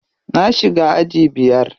Na shiga aji biyar.